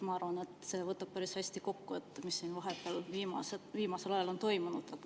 Ma arvan, et see võtab päris hästi kokku selle, mis siin vahepeal, viimasel ajal on toimunud.